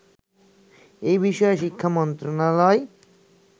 এ বিষয়ে শিক্ষা মন্ত্রণালয়